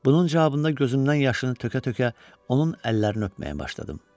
Bunun cavabında gözümdən yaşını tökə-tökə onun əllərini öpməyə başladım.